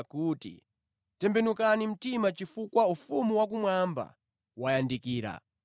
kuti, “Tembenukani mtima chifukwa ufumu wakumwamba wayandikira.”